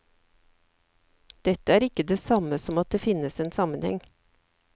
Dette er ikke det samme som at det finnes en sammenheng.